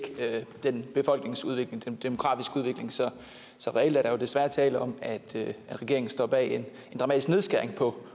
den demografiske udvikling så reelt er der jo desværre tale om at regeringen står bag en dramatisk nedskæring på